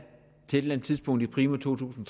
til et eller andet tidspunkt primo to tusind